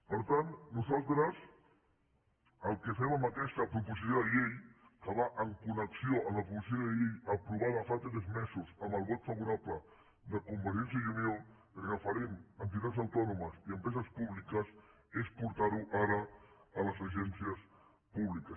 per tant nosaltres el que fem amb aquesta proposició de llei que va en connexió amb la proposició de llei aprovada fa tres mesos amb el vot favorable de convergència i unió referent a entitats autònomes i empreses públiques és portar ho ara a les agències públiques